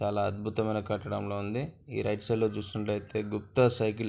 చాలా అద్భుతమైన కట్టడం ల ఉంది ఈ రైట్ సైడ్ లో చూసుకుంటే గుప్త సైకిల్ --